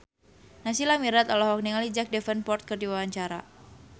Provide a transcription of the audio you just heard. Naysila Mirdad olohok ningali Jack Davenport keur diwawancara